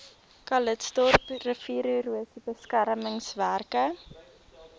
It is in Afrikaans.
calitzdorp riviererosie beskermingswerke